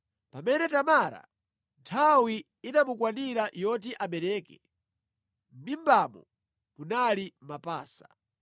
Pamene Tamara nthawi inamukwanira yoti abeleke, mʼmimbamo munali mapasa.